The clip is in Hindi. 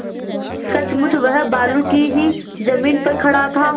सचमुच वह बालू की ही जमीन पर खड़ा था